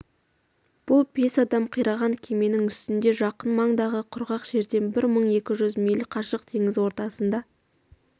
бұл бес адам қираған кеменің үстінде жақын маңдағы құрғақ жерден бір мың екі жүз миль қашық теңіз ортасында